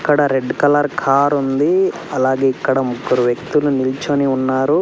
ఇక్కడ red colour car ఉంది అలాగే ఇక్కడ ముగ్గురు వ్యక్తులు నిల్చుని ఉన్నారు.